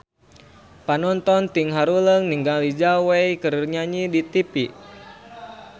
Panonton ting haruleng ningali Zhao Wei keur nyanyi di tipi